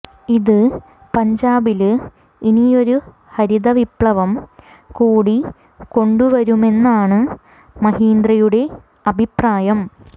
ഇത് പഞ്ചാബില് ഇനിയൊരു ഹരിതവിപ്ലവം കൂടി കൊണ്ടു വരുമെന്നാണ് മഹീന്ദ്രയുടെ അഭിപ്രായം